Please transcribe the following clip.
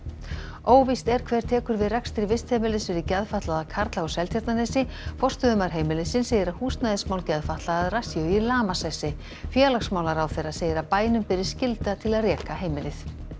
óvíst er hver tekur við rekstri vistheimilis fyrir geðfatlaða karla á Seltjarnarnesi forstöðumaður heimilisins segir að húsnæðismál geðfatlaðra séu í lamasessi félagsmálaráðherra segir að bænum beri skylda til að reka heimilið